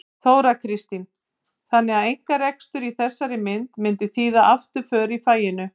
Þóra Kristín: Þannig að einkarekstur í þessari mynd myndi þýða afturför í faginu?